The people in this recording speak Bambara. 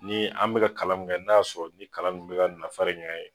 Ni an mika ka kalan mun kɛ n'a y'a sɔrɔ nin kala nunnu mi ka nafa de ɲ'an ye